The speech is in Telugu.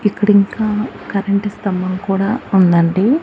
ఇక్కడింకా కరెంటు స్తంభం కూడా ఉందండి.